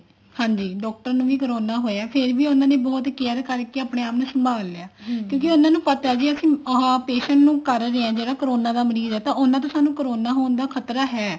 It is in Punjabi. ਹਾਂਜੀ doctor ਨੂੰ ਵੀ corona ਹੋਇਆ ਫ਼ੇਰ ਉਹਨਾ ਨੇ care ਕਰਕੇ ਆਪਣੇ ਆਪ ਨੂੰ ਸੰਭਾਲ ਲਿਆ ਕਿਉਂਕਿ ਉਹਨਾ ਨੂੰ ਪਤਾ ਵੀ ਅਸੀਂ ਆਹ patient ਨੂੰ ਕਰ ਰਹੇ ਹਾਂ ਜਿਹੜਾ corona ਦਾ ਮਰੀਜ਼ ਹੈ ਤਾਂ ਉਹਨਾ ਤੋਂ ਸਾਨੂੰ corona ਹੋਣ ਦਾ ਖਤਰਾ ਹੈ